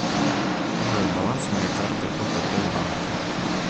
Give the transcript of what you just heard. джой баланс моей карты отп банка